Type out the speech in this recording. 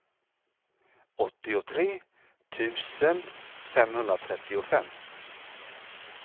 åttiotre tusen femhundratrettiofem